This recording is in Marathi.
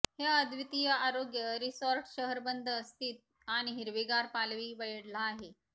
हे अद्वितीय आरोग्य रिसॉर्ट शहर बंद स्थित आणि हिरवीगार पालवी वेढला आहे